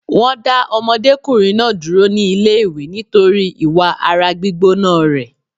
Wọn dá ọmọdékùnrin náà dúró ní ilé ìwé nítorí ìwà ara gbígbóná rẹ̀